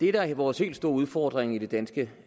er vores helt store udfordring i det danske